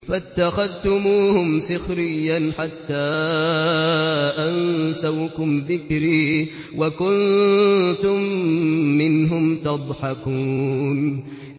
فَاتَّخَذْتُمُوهُمْ سِخْرِيًّا حَتَّىٰ أَنسَوْكُمْ ذِكْرِي وَكُنتُم مِّنْهُمْ تَضْحَكُونَ